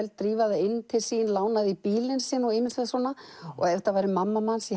drífa það inn til sín lána því bílinn sinn og ýmislegt ef þetta væri mamma manns